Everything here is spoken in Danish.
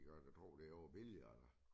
Det kan man da tror det var billigere